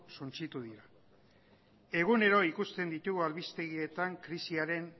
suntsitu dira egunero ikusten ditugu albistegietan krisiaren